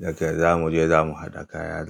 Dakai za mu je za mu haɗa kaya.